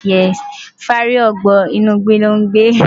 Fáàrí ọ̀bọ inú ìgbé ló ń gbé.